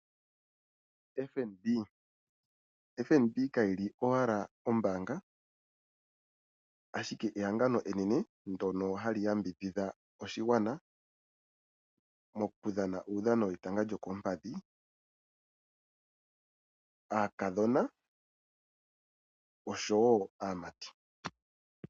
FNB, FNB kayi lipo owala ombaanga ashike ehangano enene ndoka hali yambidhidha oshigwana mokudhana uudhano wetanga lyokompadhi aakadhona osho wo aamati.